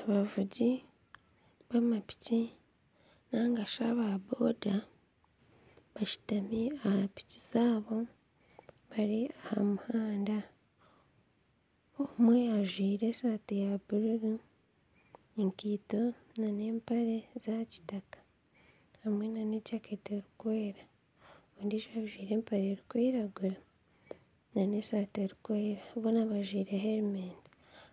Abavugi ba mapiki nigashi aba boda bashutami aha piki zaabo bari aha muhanda omwe ajwaire esaati ya buruuru, ekaito n'empare bya kitaka hamwe n'ejaketi erikwera ondijo ajwaire empare erikwiragura n'esaati erikwera boona bajwaire helementi